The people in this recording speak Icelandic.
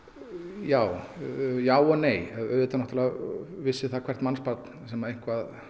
já já og nei auðvitað náttúrulega vissi það hvert mannsbarn sem eitthvað